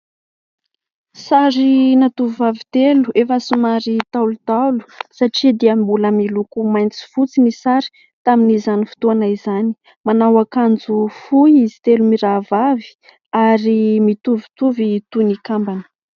Sarina tovovavy telo efa somary ntaolontaolo satria dia mbola miloko mainty sy fotsy ny sary tamin'izany fotoana izany, manao ankanjo fohy izy telo mirahavavy ary mitovitovy toy ny kambana.